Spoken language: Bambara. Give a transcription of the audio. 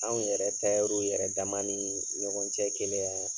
Anw yɛrɛ tayɛriw yɛrɛ dama nii ɲɔgɔn cɛ keleya